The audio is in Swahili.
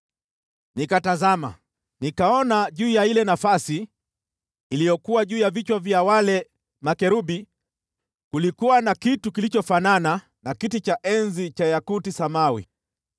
Nikatazama, nikaona juu ya ile nafasi iliyokuwa juu ya vichwa vya wale makerubi kulikuwa na kitu mfano wa kiti cha enzi cha yakuti samawi.